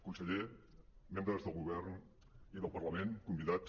conseller membres del govern i del parlament convidats